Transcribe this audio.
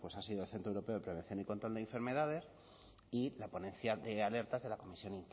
ha sido el centro europeo de prevención y control de enfermedades y la ponencia de alertas de la comisión